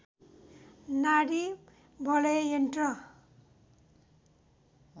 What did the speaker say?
नाडी वलय यन्त्र